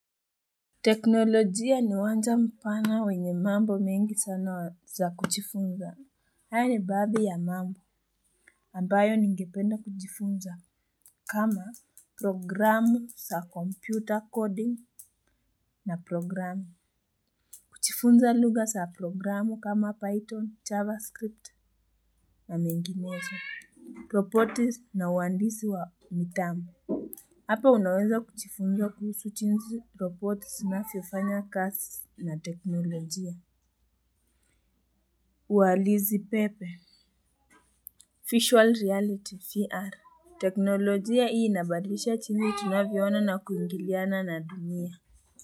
Teknolojia ni wanja mpana wenye mambo mengi sana za kujifunza. Haya ni baadhi ya mambo ambayo ningependa kujifunza kama programu za kompyuta coding na programu. Kujifunza lugha za programu kama python, javascript na menginezo. Properties na uandisi wa mitambo. Hapa unaweza kujifunza kuhusu jinsi roboti zinavyofanya kazi na teknolojia. Uhalisi pepe. Visual reality, VR. Teknolojia hii inabadlisha jinsi tunavyoona na kuingiliana na dunia.